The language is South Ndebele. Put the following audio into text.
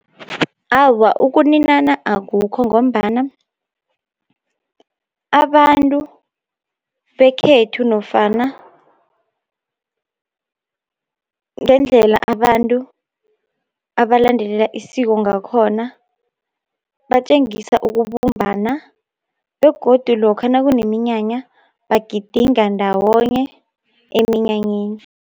Awa, ukuninana akukho, ngombana abantu bekhethu nofana ngendlela abantu abalandelela isiko ngakhona, batjengisa ukubumbana, begodu lokha nakuneminyanya bagidinga ndawonye eminyanyeni.